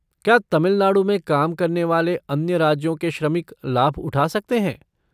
क्या तमिलनाडु में काम करने वाले अन्य राज्यों के श्रमिक लाभ उठा सकते हैं?